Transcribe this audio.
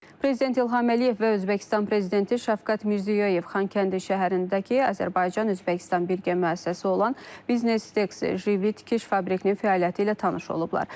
Prezident İlham Əliyev və Özbəkistan prezidenti Şavkat Mirziyoyev Xankəndi şəhərindəki Azərbaycan Özbəkistan Birgə müəssisəsi olan Biznes Jivi tikiş fabrikinin fəaliyyəti ilə tanış olublar.